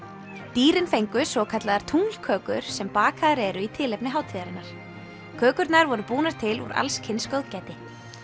dýrin fengu svokallaðar sem bakaðar eru í tilefni hátíðarinnar kökurnar voru búnar til úr allskyns góðgæti